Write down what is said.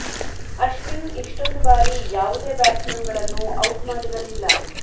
ಅಶ್ವಿನ್ ಇಷ್ಟೊಂದು ಬಾರಿ ಯಾವುದೇ ಬ್ಯಾಟ್ಸ್ ಮನ್ ಗಳನ್ನು ಔಟ್ ಮಾಡಿರಲಿಲ್ಲ